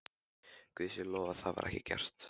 Guði sé lof að það var ekki gert.